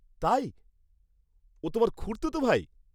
তাই, ও তোমার খুড়তুত ভাই?